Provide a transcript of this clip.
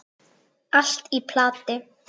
Allt í plati!